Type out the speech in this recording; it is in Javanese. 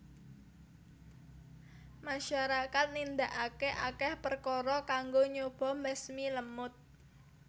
Masyarakat nindakake akeh perkara kanggo nyoba mbasmi lemut